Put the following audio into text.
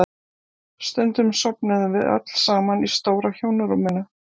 Stundum sofnuðum við öll saman í stóra hjónarúminu.